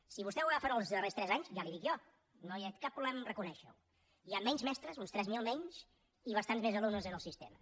si vostè ho agafa en els darrers tres anys ja li ho dic jo no hi ha cap problema a reconèixerho hi ha menys mestres uns tres mil menys i bastants més alumnes en el sistema